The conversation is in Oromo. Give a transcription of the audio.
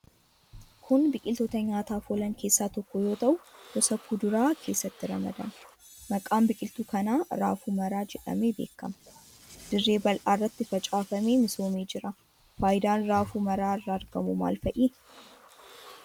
Kun biqiltoota nyaataaf oolan keessaa tokko yoo ta'u gosa kuduraa keessatti ramadama. Maqaan biqiltuu kanaa raafuu maraa jedhamee beekama. Dirree bal'aa irratti facaafamee misoomee jira. Faayidaan raafuu maraa irraa argamu maal fa'i?